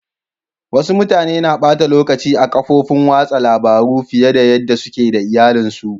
Wassu mutane na bata lokaci a'kafofin wasan labaru fiyar da yada suke da iyallin su.